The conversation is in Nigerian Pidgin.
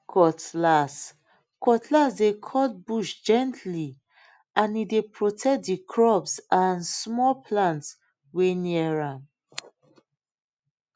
cutlass cutlass dey cut bush gently and e dey protect the crops and small plants wey near am